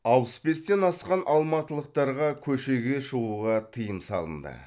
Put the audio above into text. алпыс бестен асқан алматылықтарға көшеге шығуға тыйым салынды